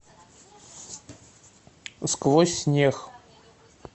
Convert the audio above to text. сквозь снег